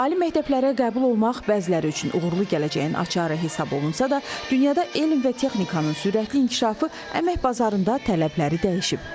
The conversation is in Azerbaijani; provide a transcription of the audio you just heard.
Ali məktəblərə qəbul olmaq bəziləri üçün uğurlu gələcəyin açarı hesab olunsada, dünyada elm və texnikanın sürətli inkişafı əmək bazarında tələbləri dəyişib.